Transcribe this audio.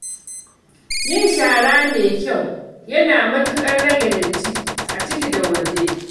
Yin shara mai kyau yana matuƙar rage datti a ciki da waje.